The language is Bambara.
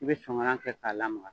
I bɛ songala kɛ k'a lamaga